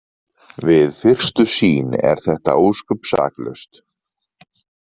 Við fyrstu sýn er þetta ósköp saklaust.